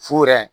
Fu yɛrɛ